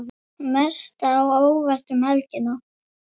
Mest á óvart um helgina?